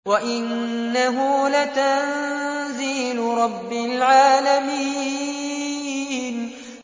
وَإِنَّهُ لَتَنزِيلُ رَبِّ الْعَالَمِينَ